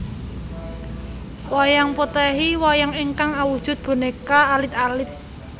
Wayang Potèhi Wayang ingkang awujud bonéka alit alit